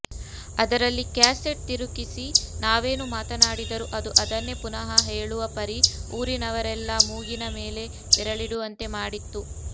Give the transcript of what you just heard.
ಅದರಲ್ಲಿ ಕ್ಯಾಸೆಟ್ ತುರುಕಿಸಿ ನಾವೇನು ಮಾತನಾಡಿದರೂ ಅದು ಅದನ್ನೇ ಪುನಃ ಹೇಳುವ ಪರಿ ಊರಿನವರೆಲ್ಲ ಮೂಗಿನ ಮೇಲೆ ಬೆರಳಿಡುವಂತೆ ಮಾಡಿತ್ತು